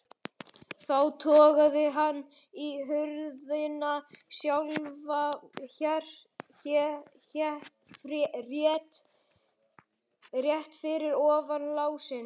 Þá togaði hann í hurðina sjálfa, rétt fyrir ofan lásinn.